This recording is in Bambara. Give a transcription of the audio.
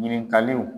Ɲininkaliw